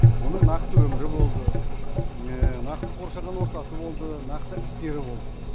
оның нақты өмірі болды нақты қоршаған ортасы болды нақсы істері болды